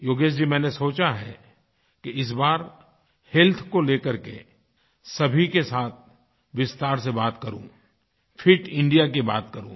योगेश जी मैंने सोचा है कि इस बार हेल्थ को लेकर के सभी के साथ विस्तार से बात करूँ फिट इंडिया की बात करूँ